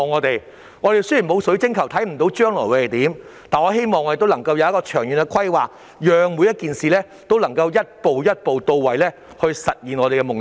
雖然我們沒有水晶球，看不到將來會如何，但我希望當局能有長遠規劃，讓每件事可以逐步到位，實現我們的夢想。